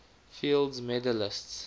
fields medalists